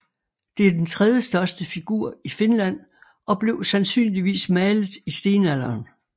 Det er den tredjestørste figur i Finland og blev sandsynligvis malet i stenalderen